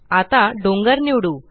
आता डोंगर निवडू